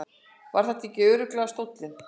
Var þetta ekki örugglega stóllinn?